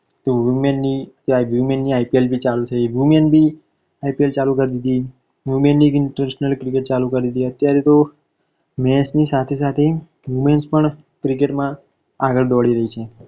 તો women ની ત્યાં women ની IPL પણ ચાલુ છે women ભી IPL ચાલુ કરી દીધી women ની internation cricket ચાલુ કરી દીધી અત્યારે તો match ની સાથે સાથે womens પણ cricket માં આગળ દોડી રહી છે.